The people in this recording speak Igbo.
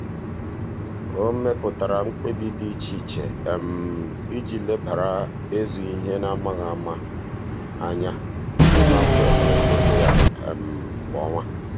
ọ mepụtara nkebi dị iche iche iji lebara ịzụ ihe n'amaghị ama anya n'ime akwụkwọ e sere ese ego ya kwa ọnwa.